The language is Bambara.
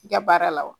I ka baara la wa